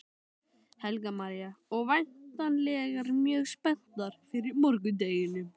Helga María: Og væntanlegar mjög spenntar fyrir morgundeginum?